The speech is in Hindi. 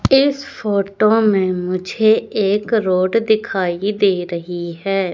इस फोटो में मुझे एक रोड दिखाई दे रही है।